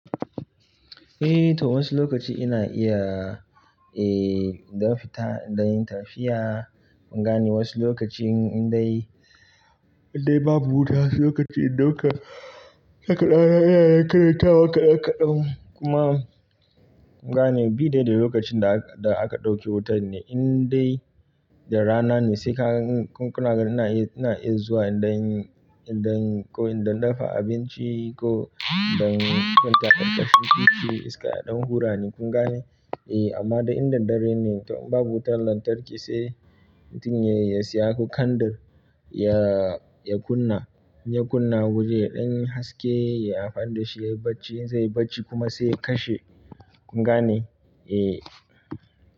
Eh to wasu lokaci ina iya, eh in ɗan fita in ɗan yin tafiya. Kun gane wasu lokacin in dai, in dai babu wuta, wasu lokaci in ɗauka ɗan iyaye karata wa kaɗan-kaɗan kuma kun gane bi dai da lokacin da aka ɗauke wutar ne in dai da rana ne sai ka, kun, kuna ina ina iya zuwa inɗanyi in, inɗa in ko inɗa dafa abinci ko inɗan kwanta ƙarƙashin titi iska ya ɗan hura ni kun gane? Eh amma da in daddare ne to in babu wutar lantarki sai mutum ya, ya siya kandir ya, ya kunna, ya kunna waje ya ɗanyi haske yayi amfani da shi ya yi bacci zai yi bacci kuma sai ya kashe kun gane? Eh.